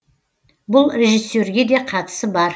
бұл режиссерге де қатысы бар